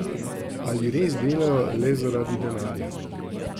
Ali res delajo le zaradi denarja?